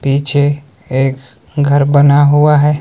निचे एक घर बना हुआ है।